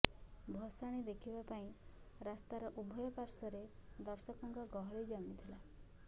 ଭସାଣି ଦେଖିବା ପାଇଁ ରାସ୍ତାର ଉଭୟ ପାର୍ଶ୍ୱରେ ଦର୍ଶକଙ୍କ ଗହଳି ଜମିଥିଲା